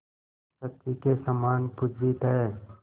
शची के समान पूजित हैं